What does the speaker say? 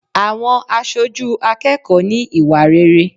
Àwọn aṣojú akẹ́kọ̀ọ́ ní ìwà rere.